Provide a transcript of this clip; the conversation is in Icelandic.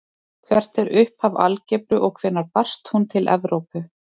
Hvert er upphaf algebru og hvenær barst hún til Evrópu?